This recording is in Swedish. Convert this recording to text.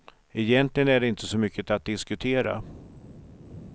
Egentligen är det inte så mycket att diskutera.